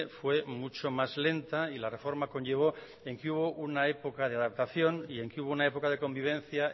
fue mucho más lenta y la reforma conllevo en que hubo una época de adaptación y en que hubo una época de convivencia